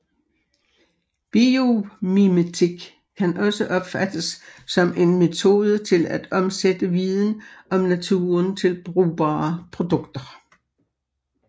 Biomimetik kan også opfattes som en metode til at omsætte viden om naturen til brugbare produkter